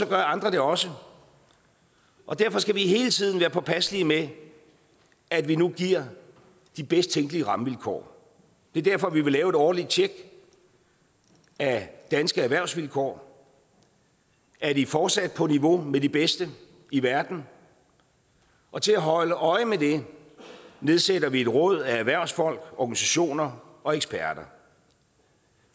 andre det også og derfor skal vi hele tiden være påpasselige med at vi nu giver de bedst tænkelige rammevilkår det er derfor vi vil have et årligt tjek af danske erhvervsvilkår er de fortsat på niveau med de bedste i verden og til at holde øje med det nedsætter vi et råd af erhvervsfolk organisationer og eksperter